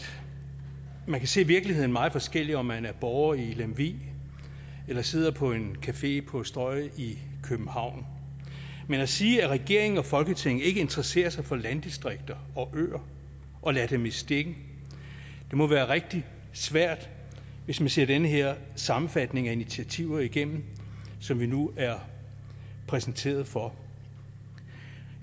man kan se virkeligheden meget forskelligt om man er borger i lemvig eller sidder på en café på strøget i københavn men at sige at regering og folketing ikke interesserer sig for landdistrikter og øer og lader dem i stikken må være rigtig svært hvis man ser den her sammenfatning af initiativer igennem som vi nu er præsenteret for